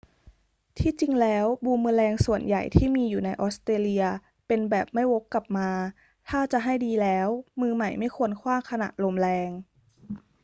ที่จริงแล้วบูมเมอแรงส่วนใหญ่ที่มีอยู่ในออสเตรเลียเป็นแบบไม่วกกลับมา ถ้าจะให้ดีแล้ว มือใหม่ไม่ควรขว้างขณะลมแรง